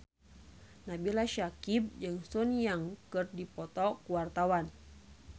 Nabila Syakieb jeung Sun Yang keur dipoto ku wartawan